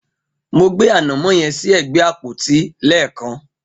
Mo gbé ànàmọ́ yẹn sí ẹ̀gbẹ́ àpótí lẹ́ẹ̀kan.